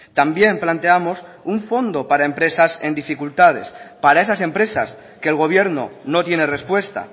también planteamos un fondo para empresas en dificultades para esas empresas que el gobierno no tiene respuesta